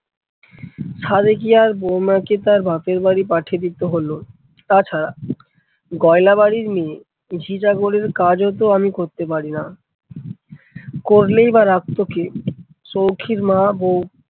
সাধে কি আর বৌমাকে তার বাপের বাড়ি পাঠিয়ে দিতে হলো। তাছাড়া গয়লা বাড়ির মেয়ে ঝি চাকরের কাজও তো আমি করতে পারিনা, করলেই বা রাখতো কে? সৌখীর মা বউ